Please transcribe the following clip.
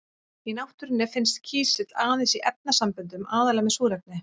Í náttúrunni finnst kísill aðeins í efnasamböndum, aðallega með súrefni.